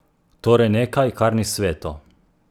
Torej nekaj, kar ni sveto?